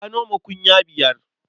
Ya noma kunya biyar.